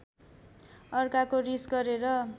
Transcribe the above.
अर्काको रिस गरेर